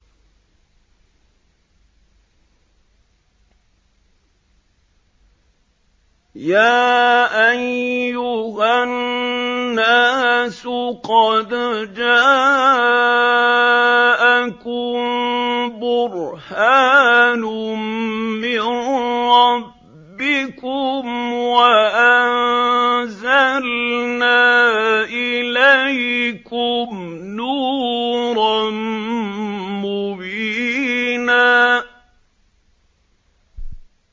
يَا أَيُّهَا النَّاسُ قَدْ جَاءَكُم بُرْهَانٌ مِّن رَّبِّكُمْ وَأَنزَلْنَا إِلَيْكُمْ نُورًا مُّبِينًا